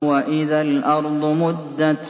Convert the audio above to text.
وَإِذَا الْأَرْضُ مُدَّتْ